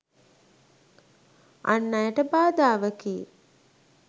අන් අයට බාධාවකි.